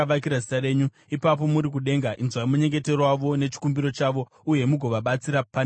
ipapo muri kudenga, inzwai munyengetero wavo nechikumbiro chavo, uye mugovabatsira pane zvavanorwira.